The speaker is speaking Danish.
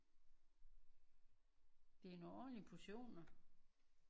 Det er nogle ordentlige portioner